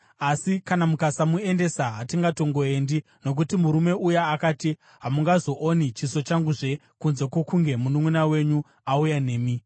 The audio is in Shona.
Asi kana mukasamuendesa, hatingatongoendi, nokuti murume uya akati, ‘Hamungazooni chiso changuzve kunze kwokunge mununʼuna wenyu auya nemi.’ ”